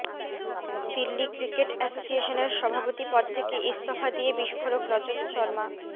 Delhi cricket অ্যাসোসিয়েশনের সভাপতি পদ থেকে ইস্তফা দিয়ে বিস্ফোরক রজত শর্মা